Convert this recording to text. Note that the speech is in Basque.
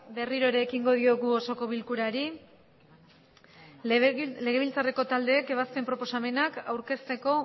berriro erekingo diogu osoko bilkurari legebiltzareko taldeek ebazken proposamena aurkesteko